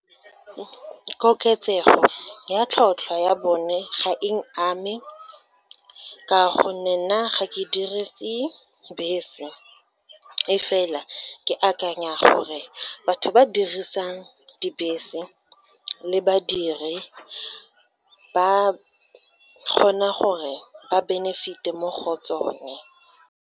Koketsego ya tlhotlhwa ya bone ga eng ame, ka gonne nna ga ke dirise bese. E fela, ke akanya gore, batho ba dirisang dibese le badiri, ba kgona gore ba benefit-e mo go tsone.